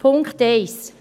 Punkt 1